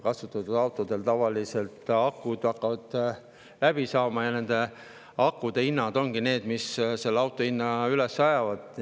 Kasutatud autodel hakkavad tavaliselt akud läbi minema ja akude hinnad ongi need, mis selle auto hinna üles ajavad.